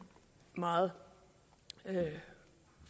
meget